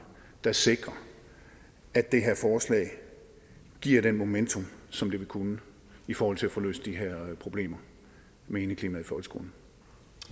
der sikrer at det her forslag giver det momentum som det vil kunne i forhold til at få løst de her problemer med indeklimaet